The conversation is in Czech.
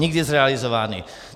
Nikdy zrealizovány.